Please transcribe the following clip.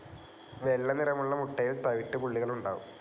വെള്ളനിറമുള്ള മുട്ടയിൽ തവിട്ടു പുള്ളികൾ ഉണ്ടാവും.